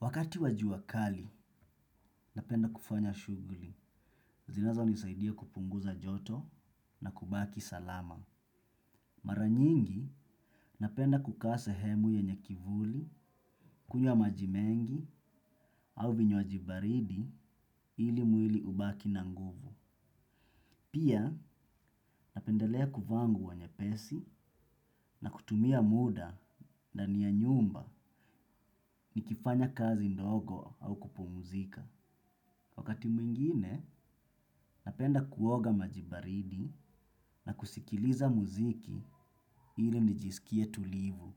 Wakati wa jua kali, napenda kufanya shughuli. Zinazonisaidia kupunguza joto na kubaki salama. Mara nyingi, napenda kukaa sehemu yenye kivuli, kunywa maji mengi, au vinywaji baridi ili mwili ubaki na nguvu. Pia, napendelea kuvaa nguo nyepesi na kutumia muda ndani ya nyumba nikifanya kazi ndogo au kupumuzika. Wakati mwingine, napenda kuoga maji baridi na kusikiliza muziki ili nijisikie tulivu.